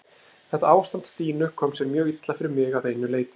Þetta ástand Stínu kom sér mjög illa fyrir mig að einu leyti.